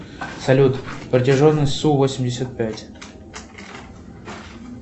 салют протяженность су восемьдесят пять